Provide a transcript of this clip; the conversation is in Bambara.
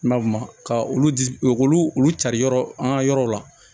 N'a ma ka olu di olu olu olu cari yɔrɔ an ka yɔrɔw la